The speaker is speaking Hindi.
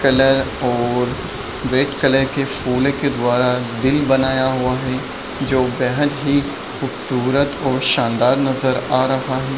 कलर और रेड कलर के फूलो के द्वारा दिल बनाया हुआ है जो बेहद ही खूबसूरत और शानदार नजर आ रहा है।